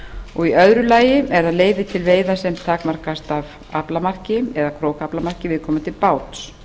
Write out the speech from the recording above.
og í öðru lagi er það leyfi til veiða sem takmarkast af aflamarki eða krókaaflamarki viðkomandi báts